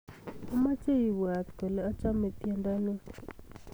Amache ibwat kole achame tyendo ni